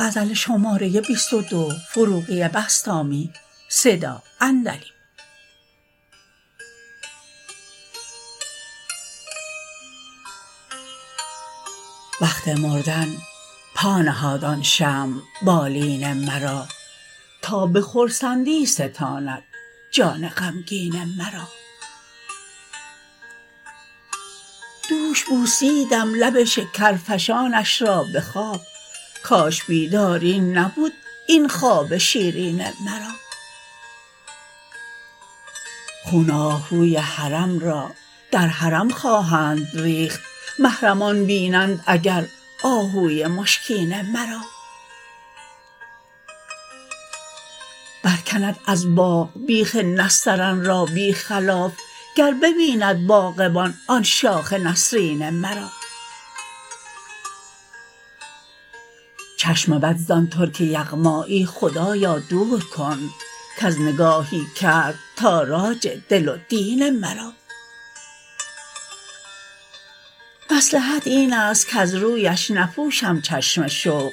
وقت مردن پا نهاد آن شمع بالین مرا تا به خرسندی ستاند جان غمگین مرا دوش بوسیدم لب شکرفشانش را به خواب کاش بیداری نبود این خواب شیرین مرا خون آهوی حرم را در حرم خواهند ریخت محرمان بینند اگر آهوی مشکین مرا برکند از باغ بیخ نسترن را بی خلاف گر ببیند باغبان آن شاخ نسرین مرا چشم بد زان ترک یغمایی خدایا دور کن کز نگاهی کرد تاراج دل و دین مرا مصلحت این است کز رویش نپوشم چشم شوق